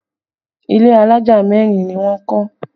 Ilé alájà mẹ́rin ni wọ́n kọ́